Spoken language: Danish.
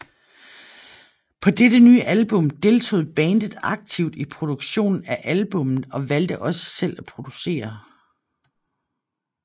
På dette nye album deltog bandet aktivt i produktionen af albummet og valgte også selv producerne